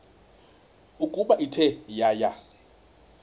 ukuba ithe yaya